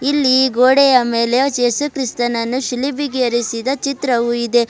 ಇಲ್ಲಿ ಗೋಡೆಯ ಮೇಲೆ ಏಸುಕ್ರಿಸ್ತನನ್ನು ಶಿಲುಬೆಗೆ ಏರಿಸಿದ ಚಿತ್ರವೂ ಇದೆ.